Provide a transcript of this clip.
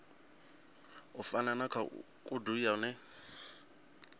u fana na khoudu yone